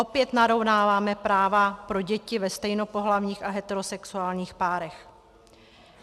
Opět narovnáváme práva pro děti ve stejnopohlavních a heterosexuálních párech.